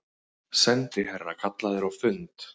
Sendiherra kallaður á fund